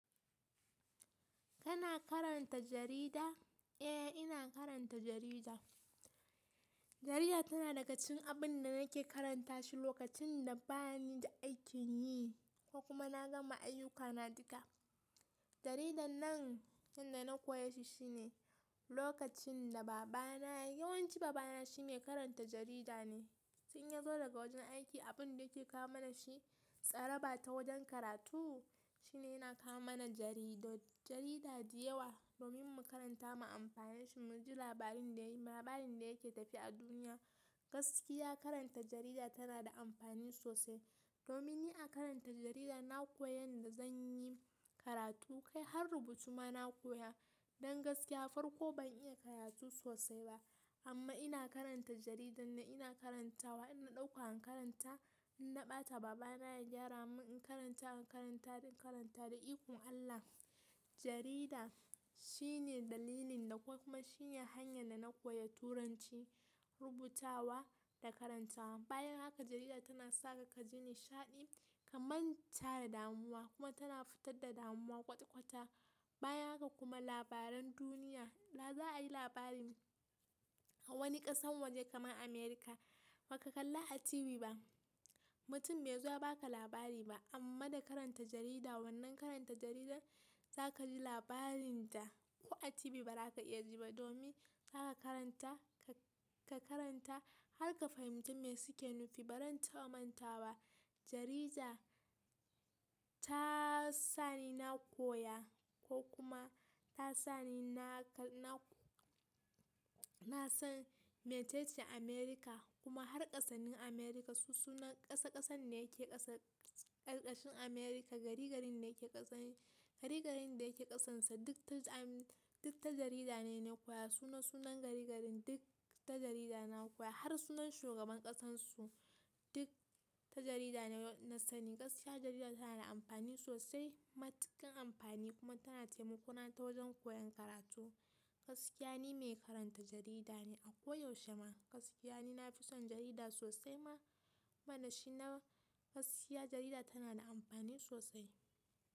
Kana karanta jarida? Eh, ina karanta jarida. Jarida tana daga cikin abin da nake karanta shi lokacin da bani da aikin yi ko kuma na gama ayyukana duka. Jaridar nan, yadda na koya shi shine lokacin da baba na, yawanci baba na shi mai karanta jarida ne. In ya zo daga wajen aiki, abin da yake kawo mana shi, tsaraba ta wajen karatu shine yana kawo mana jaridu. Jarida da yawa domin mu karanta mu amfane shi, mu ji labarin da yake tafe a duniya. Gaskiya karanta jarida tana da amfani sosai. Domin ni a karanta jarida, na koyi yadda zan yi karatu kai har rubutu ma na koya. Don gaskiya farko ban iya karatu sosai ba. Amma ina karanta jaridar ina karantawa, ina ɗauka in karanta, in na ɓata baba na ya gyara mun in karanta, in karanta, in karanta da ikon Allah. Jarida shine dalilin da kuma shine hanyan da na koya turanci, rubutawa da karantawa. Bayan haka jarida tana saka ka ji nishaɗi kaman ta da damuwa kuma tana fitar da damuwa kwata-kwata. Bayan haka kuma labaran duniya, za a yi labarin wani ƙasan waje kamar Amurka, baka kalla a TV ba, mutum bai zo ya baka labari ba. Amma da karanta jarida wannan karanta jaridar za ka ji labarin da ko a TV ba za ka iya ji ba domin za ka karanta, ka karanta har ka fahimci me suke nufi. Baran ta ɓamanta wa, jarida ta sani na koya ko kuma ta sani na san me ce ce Amurka kuma har ƙasasin Amurka su sunan ƙasa ƙasan ne yake ƙasa ƙarƙashin Amurka, gari garin da yake ƙasarsa duk ta jarida ne na koya sunan sunan gari garin duk ta jarida na koya har sunan shugaban ƙasansu duk ta jarida na sani, gaskiya jarida tana da amfani sosai, matuƙar amfani kuma tana taimakona ta wajan koyan karatu gaskiya ni mai karanta jarida ne a ko yaushe ma gaskiya ni na fi son jarida sosai ma kuma da shi na. Gaskiya jarida tana da amfani sosai.